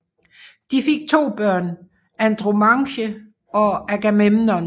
De fik to børn Andromache og Agamemnon